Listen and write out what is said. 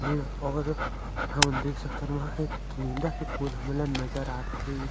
ये और हमन देख सकथन वहाँ एक गेंदा के फूल हमन ला नज़र आथ हे जे --